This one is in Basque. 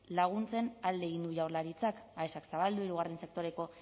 laguntzen alde egin du jaurlaritzak aesak zabaldu hirugarren sektoreko